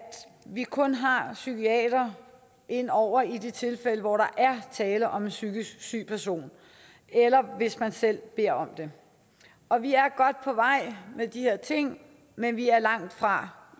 vi kun har en psykiater ind over i de tilfælde hvor der er tale om en psykisk syg person eller hvis man selv beder om det og vi er godt på vej med de her ting men vi er langtfra